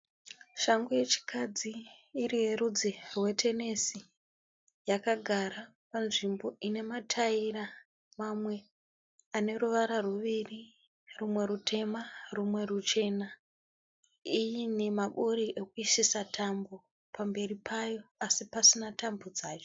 Shangu yechikadzi iri yerudzi rwetenesi yakagara panzvimbo inematayira mamwe aneruvara ruviri rumwe rutema rumwe ruchena. Ine maburi ekuisisa tambo pamberi payo asi pasina tambo dzacho.